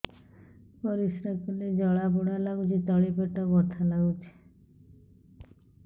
ପରିଶ୍ରା କଲେ ଜଳା ପୋଡା ଲାଗୁଚି ତଳି ପେଟ ବଥା ଲାଗୁଛି